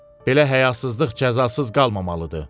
Belə həyasızlıq cəzasız qalmamalıdır.